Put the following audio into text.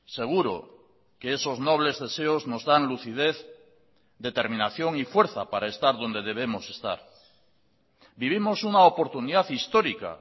seguro que esos nobles deseos nos dan lucidez determinación y fuerza para estar donde debemos estar vivimos una oportunidad histórica